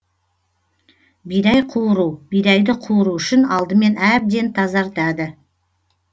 бидай қуыру бидайды қуыру үшін алдымен әбден тазартады